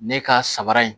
Ne ka sabara in